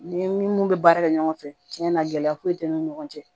Ni mun bɛ baara kɛ ɲɔgɔn fɛ cɛn na gɛlɛya foyi tɛ an ni ɲɔgɔn cɛ